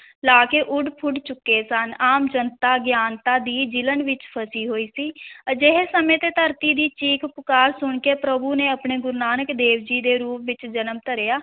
ਲਾਕੇ ਉੱਡ-ਪੁੱਡ ਚੁੱਕੇ ਸਨ, ਆਮ ਜਨਤਾ ਅਗਿਆਨਤਾ ਦੀ ਜਿਲ੍ਹਣ ਵਿਚ ਫਸੀ ਹੋਈ ਸੀ ਅਜਿਹੇ ਸਮੇਂ ਤੇ ਧਰਤੀ ਦੀ ਚੀਖ-ਪੁਕਾਰ ਸੁਣ ਕੇ ਪ੍ਰਭੂ ਨੇ ਆਪਣੇ ਗੁਰੂ ਨਾਨਕ ਦੇਵ ਜੀ ਦੇ ਰੂਪ ਵਿੱਚ ਜਨਮ ਧਾਰਿਆ,